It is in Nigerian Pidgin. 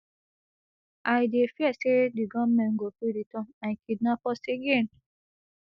i dey fear say di gunmen go fit return and kidnap us again